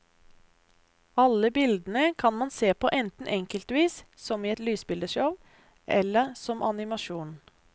Alle bildene kan man se på enten enkeltvis som i et lysbildeshow, eller som animasjon.